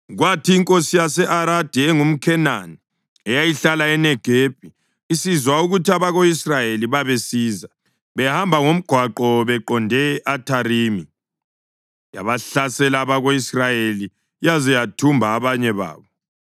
Kwathi inkosi yase-Aradi engumKhenani eyayihlala eNegebi isizwa ukuthi abako-Israyeli babesiza behamba ngomgwaqo beqonde e-Atharimi, yabahlasela abako-Israyeli yaze yathumba abanye babo.